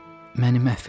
Məni məhv eləməyin.